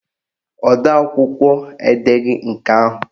Odeakwụkwọ edeghi nke ahụ